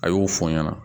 A y'o fɔ n ɲɛna